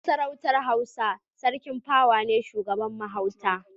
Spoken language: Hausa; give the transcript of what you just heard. A Masarautar Hausa Sarki pawa ne shugaban mahauta.